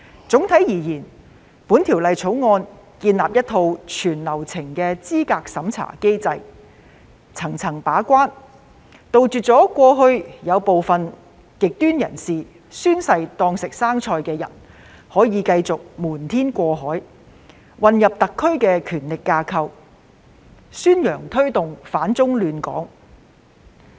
總體而言，《條例草案》建立一套全流程資格審查機制，層層把關，杜絕過去部分極端人士"宣誓當食生菜"，繼續瞞天過海，混入特區的權力架構，宣揚推動反中亂港。